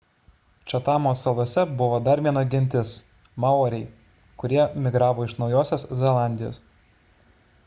čatamo salose buvo dar viena gentis maoriai kurie migravo iš naujosios zelandijos